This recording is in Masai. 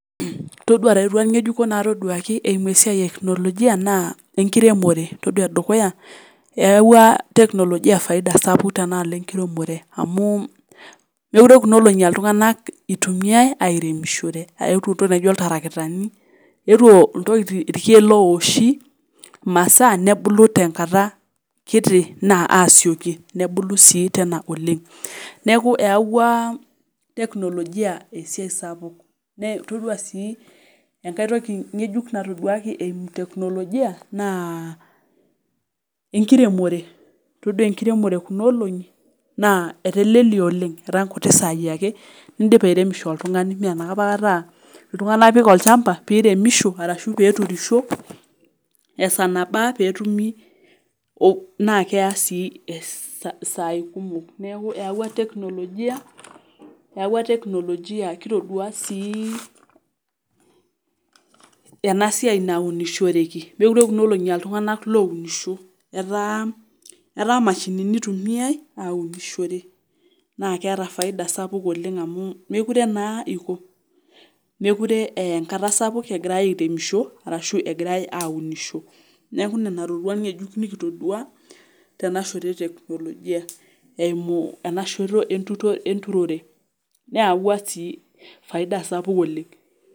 Todua ireruat ng'ejuko natoduaki eimu esiai eknolojia naa enkiremore todua edukuya eyawua teknolojia faida sapuk tenaalo enkiremore amu mekure kuna olong'i altung'anak itumiae airemishore eetuo intoki naijio iltarakitani eetuo intokiti irkeek lowoshi imasaa nebulu tenkata kiti naa asioki nebulu sii tena oleng neeku eyawua teknolojia esiai sapuk nee todua sii enkae toki ng'ejuk natoduaki eimu teknolojia naa enkiremore todua enkiremore ekuna olong'i naa etelelia oleng etaa inkuti saai ake indipa airemisho oltung'ani mee anapa kata uh iltung'anak ipik olchamba piremisho arashu peturisho esaa nabaa petumi oh naa keya sii isaai kumok neeku eyawua teknolojia eyawua teknolojia kitodua sii ena siai naunishoreki mekure kuna olong'i altung'anak ounisho etaa etaa imashini itumiae aunishore naa keeta faida sapuk oleng amu mekure naa iko mekure eya enkata sapuk egirae airemisho arashu egirae aunisho neeku nena roruat ng'ejuk nikitodua tena shoto e teknolojia eimu enashoto entu enturore neyawua sii faida sapuk oleng.